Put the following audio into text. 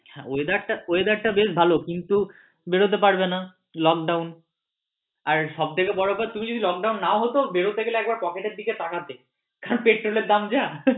হ্যাঁ weather টা বেশ ভালো কিন্তু বেরোতে পারবে না lockdown আর সব থেকে বড় কথা তুমি যদি lockdown না হত বেরোতে গেলে একবার pocket এর দিকে তাকাতে পেট্রোল এর দাম যা।